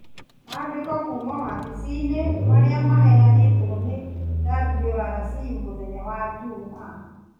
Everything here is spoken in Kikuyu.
Mandĩko kuuma wabici-inĩ marĩa maheanĩrwo nĩ WRC mũthenya wa jumaa ,